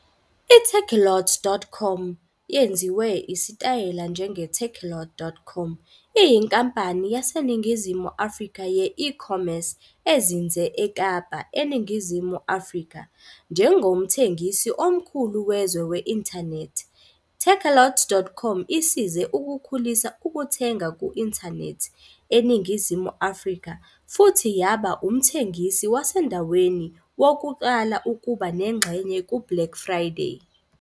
I-Takealot.com, yenziwe isitayela njenge-takealot.com, iyinkampani yaseNingizimu Afrika ye- e-commerce ezinze eKapa, eNingizimu Afrika. Njengomthengisi omkhulu wezwe we-inthanethi, takealot.com isize ukukhulisa ukuthenga ku-inthanethi eNingizimu Afrika, futhi yaba umthengisi wasendaweni wokuqala ukuba nengxenye ku-Black Friday.